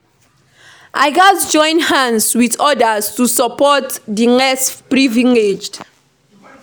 I gats join hands with others to support di less privileged.